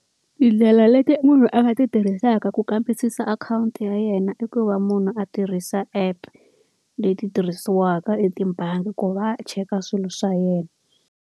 Tindlela leti munhu a nga ti tirhisaka ku kambisisa akhawunti ya yena i ku va munhu a tirhisa app, leti tirhisiwaka etibangi ku va cheka swilo swa yena.